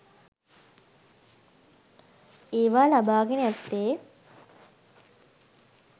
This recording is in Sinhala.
ඒවා ලබා ගෙන ඇත්තේ